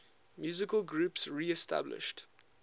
musical groups reestablished